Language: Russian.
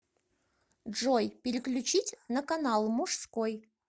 джой переключить на канал мужской